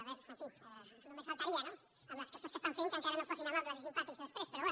bé en fi només faltaria no amb les coses que estan fent que encara no fossin amables i simpàtics després però bé